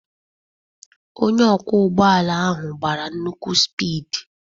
Onye ọkwọ ụgbọ ala ahụ gbara nnukwu spid.